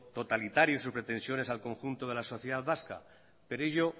totalitario y sus pretensiones al conjunto de la sociedad vasca pero ello